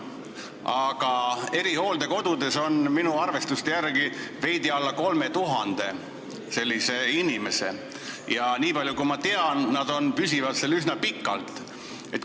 Aga erihooldekodudes on minu arvestuste järgi veidi alla 3000 sellise inimese ja niipalju kui ma tean, püsivad nad seal üsna pikalt.